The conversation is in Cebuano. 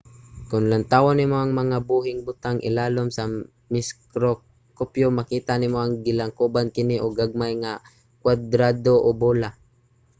kon lantawon nimo ang mga buhing butang ilalom sa mikroskopyo makita nimo nga gilangkoban kini og gagmay nga mga kuwadrado o bola